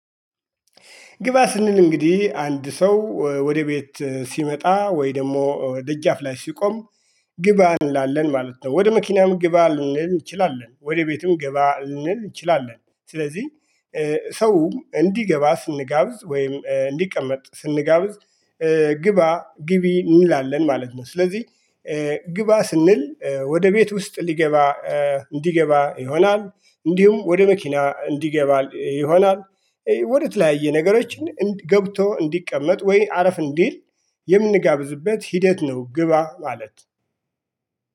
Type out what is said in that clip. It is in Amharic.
ግባ ስንል እንግዲህ አንድ ሰው ወደ ቤት ሲመጣ ወይ ደግሞ ደጃፍ ላይ ሲቆም ግባ እንላለን ማለት ነው። ወደ መኪናም ግባ እንል እንችላለን ወደ ቤትም ግባ እንል እንችላለን። ስለዚህ ሰው እንዲገባ ስንጋብዝ ወይም እንዲቀመጥ ስንጋብዝ ግባ ግቢ እንላለን ማለት ነው። ስለዚህ ግባ ስንል ወደ ቤት ውስጥ ሊገባ እንዲገባ ይሆናል እንዲሁም ወደ መኪና እንዲገባ ይሆናል ወደ ተለያየ ነገሮችን ገብቶ እንዲቀመጥ ወይ አረፍ እንዲል የምንጋብዝበት ሂደት ነው። ግባ ማለት